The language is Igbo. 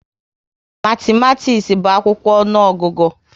Matimatis bu akwụkwọ ọnụọgụgụ